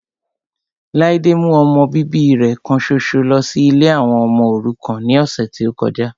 Ladé mú ọmọ bíbí rẹ kan ṣoṣo lọ sí ilé àwọn ọmọ òrukàn ní ọ̀sẹ̀ tí ó kọjá